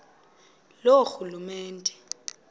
loorhulumente